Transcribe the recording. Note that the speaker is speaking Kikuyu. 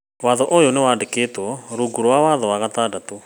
Watho ũyũ nĩ wandĩkĩtwo rungu rwa watho wa gatandatũ.